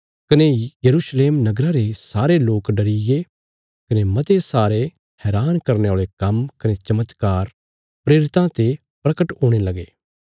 कने यरूशलेम नगरा रे सारे लोक डरीगे कने मते सारे हैरान करने औल़े काम्म कने चमत्कार प्रेरितां ते परगट हुणे लगे